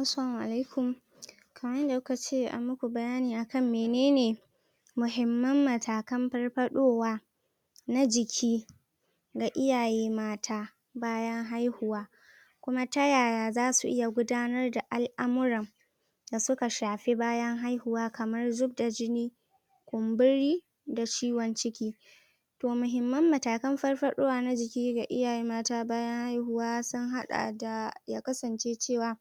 Assalamu alaikum kaman yadda kukace amuku bayani akan menene mahimman matakan farfaɗowa na jiki ga iyaye mata bayan haihuwa kuma ta yaya zasu iya gudanar da al'amuran da suka shafi bayan haihuwa kaman zubda jini kumburi da ciwon ciki to mahimman matakan farfaɗowa na jiki ga iyaye mata bayan haihuwa sun haɗa da yakasance cewa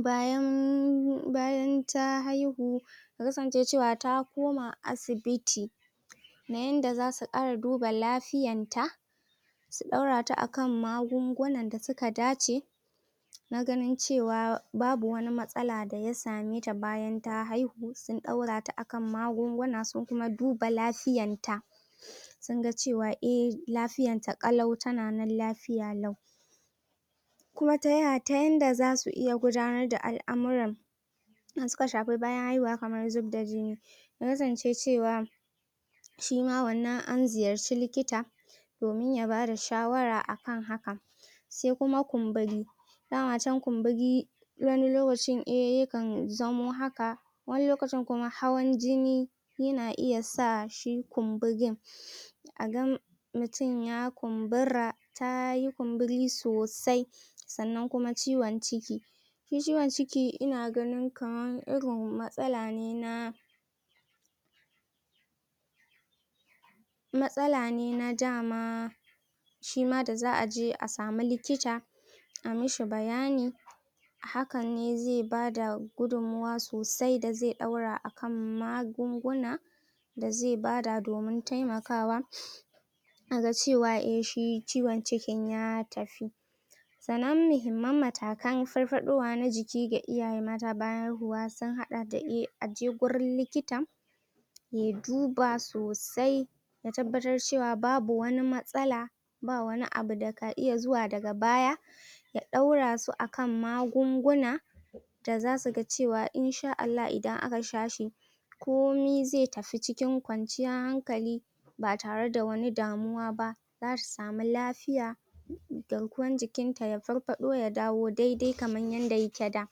bayan bayan ta haihu yakasance cewan ta koma asibiti na inda zasu ƙara duba lafiyan ta su ɗaurata akan magungunan dasu ka dace na ganin cewa babu wani matsala da ya sameta bayan ta haihu sun ɗaurata akan magunguna sun kuma duba lafiyanta sunga cewa eh lafiyanta ƙalau tana nan lafiya lau kuma taya tayanda zasu gudanar da al'amuran da suka shafa bayan haihuwa kaman zubda jini ya kasance cewa shima wannan an ziyarci likita domin yabada shawara akan hakan se kuma kumburi dama cen kumburi wani lokacin eh yakan zamo haka wani lokacin kuma hawan jini yana iya sa shi kumburin agan mutun ya kumbura tayi kumburi sosai sannan kuma ciwon ciki shi ciwon ciki ina ganin kaman irin matsala ne na matsala ne na dama shima da za aje asamu likita a mishi bayani hakanne ze bada gudun mawa sosai da ze ɗaura akan magunguna da ze bada domin temakawa aga cewa eh shi ciwon cikin ya tafi sannan mahimman matakan farfaɗowa na jiki ga iyaye mata bayan haihuwa sun haɗa da eh aje gurin likita ya duba sosai ya tabbatar cewa babu wani matsala ba wani abu da ka iya zuwa daga baya ya ɗaurasu akan magunguna da zasu ga cewan in sha Allah idan aka shashi komi ze tafi cikin ƙwanciyan hankali ba tare da wani damuwaba zasu samu lafiya garkuwan jikinta ya farfaɗo ya dawo daidai kaman yadda yake da